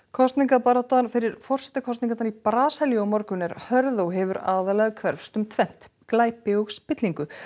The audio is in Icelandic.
kosningabaráttan fyrir forsetakosningarnar í Brasilíu á morgun er hörð og hefur aðallega hverfst um tvennt glæpi og spillingu